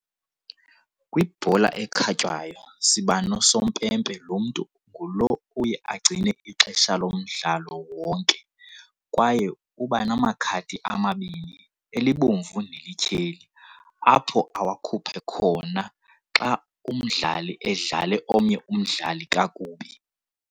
Kwibhola ekhatywayo sibano sompempe lo umntu ngulo uye angcine ixesha lomdlalo wonke kwaye ubana makhadi amabini elibomvu nelityheli, apho awakhuphe khona xa umdlali edlale omnye umdlali kakubi.